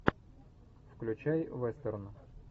включай вестерн